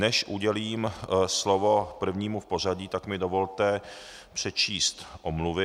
Než udělím slovo prvnímu v pořadí, tak mi dovolte přečíst omluvy.